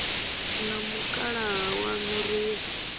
na mukalaha waṋu ri ye